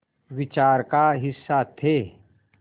विचार का हिस्सा थे